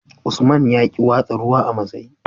Usman yaƙi watsa ruwa a masai